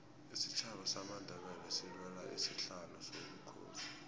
isitjhaba samandebele silwela isihlalo sobukhosi